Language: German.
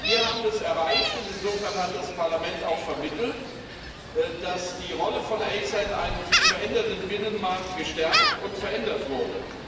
Wir haben das erreicht und insofern hat das Parlament auch vermittelt dass die Rolle der ACER in einem sich verändernden Binnenmarkt gestärkt und verändert wurde.